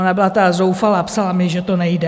Ona byla tak zoufalá, psala mi, že to nejde.